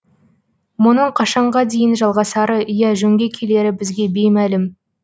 мұның қашанға дейін жалғасары я жөнге келері бізге беймәлім